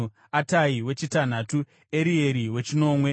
Atai wechitanhatu, Erieri wechinomwe,